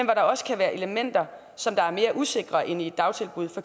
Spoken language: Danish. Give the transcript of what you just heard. der også kan være elementer som er mere usikre end i dagtilbud for